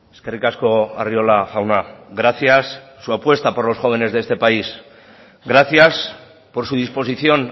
eskerrik asko arriola jauna gracias su apuesta por los jóvenes de este país gracias por su disposición